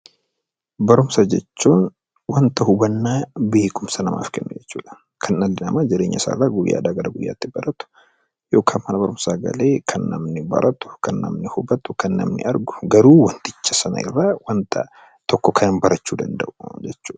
Barumsa jechuun wanta hubannaa yookaan beekumsa namaaf kennu jechuudha, kan dhalli namaa jireenya isaa guyyaadhaa gara guyyaatti baratu yookaan immoo mana barumsaa galee kan namni baratu kan namni hubatu kan namni argu, garuu wanticha Sana irraa kan waan tokko baratudha.